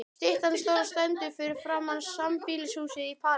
Styttan stóra stendur fyrir framan sambýlishúsið í París.